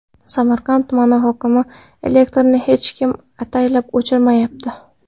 Samarqand tumani hokimi: Elektrni hech kim ataylab o‘chirmayapti.